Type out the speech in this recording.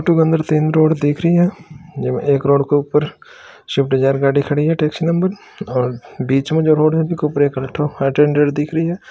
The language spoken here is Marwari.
फोटो के अंदर तीन रोड दिखरि है जीका एक रोड के ऊपर स्विफ्ट डिज़ाइर गाडी खड़ी है टेक्सी नंबर और बिच में जो रोड है विका उपरे एक अल्ट्रो आइटेँटर दिख रही है।